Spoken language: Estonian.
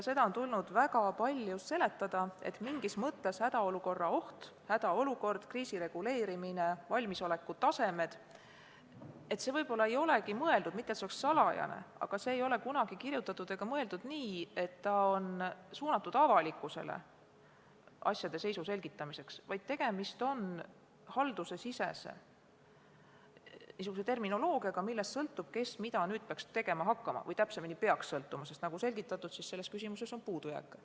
Seda on tulnud väga palju seletada, et mingis mõttes ei olegi hädaolukorra oht, hädaolukord, kriisireguleerimine ja valmisoleku tasemed – mitte et need oleks midagi salajast – mõeldud avalikkusele asjade seisu selgitamiseks, vaid tegemist on haldusesisese terminoloogiaga, millest sõltub, kes mida tegema peaks hakkama, või täpsemini öeldes, peaks sõltuma, sest nagu selgitatud, on selles küsimuses puudujääke.